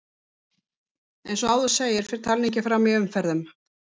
Eins og áður segir fer talningin fram í umferðum.